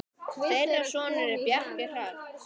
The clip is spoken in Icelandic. Þeirra sonur er Bjarki Hrafn.